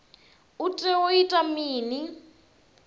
u tea u ita mini